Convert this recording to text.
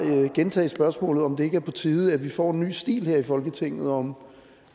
gentage spørgsmålet om det ikke er på tide at vi får en ny stil her i folketinget og om